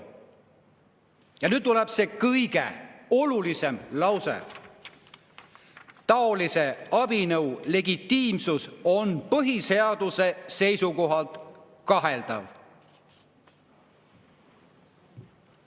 Ja nüüd tuleb see kõige olulisem lause: taolise abinõu legitiimsus on põhiseaduse seisukohalt kaheldav.